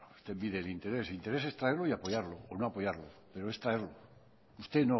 bueno usted mide el interés interés es traerlo y apoyarlo o no apoyarlo pero es traerlo usted